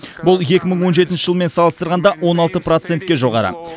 бұл екі мың он жетінші жылмен салыстырғанда он алты процентке жоғары